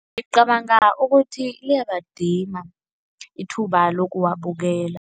Ngicabanga ukuthi liyabadima ithuba lokuwabukela.